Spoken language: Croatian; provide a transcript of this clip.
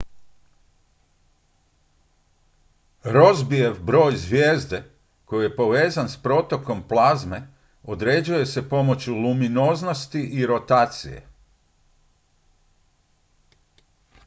rossbyjev broj zvijezde koji je povezan s protokom plazme određuje se pomoću luminoznosti i rotacije